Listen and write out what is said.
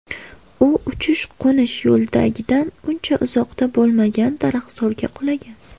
U uchish-qo‘nish yo‘lagidan uncha uzoqda bo‘lmagan daraxtzorga qulagan.